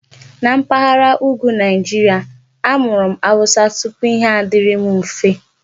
Na mpaghara Ùgwù Nigeria, amụrụ m Hausa tupu Ihe adịrị m mfe.